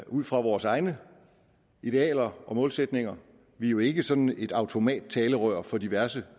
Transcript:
ud fra vores egne idealer og målsætninger vi er jo ikke sådan et automattalerør for diverse